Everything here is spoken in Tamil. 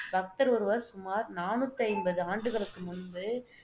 பக்தர் ஒருவர் சுமார் நானூத்தி ஐம்பது ஆண்டுகளுக்கு முன்பு